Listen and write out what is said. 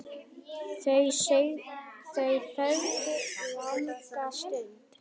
Þau þögðu langa stund.